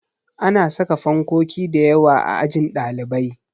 Ana saka fankoki dayawa a ajin ɗalibai